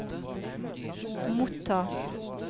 motta